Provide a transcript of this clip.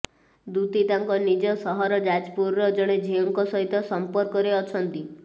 ଦୂତୀ ତାଙ୍କ ନିଜ ସହର ଯାଜପୁରର ଜଣେ ଝିଅଙ୍କ ସହିତ ସମ୍ପର୍କରେ ଅଛନ୍ତି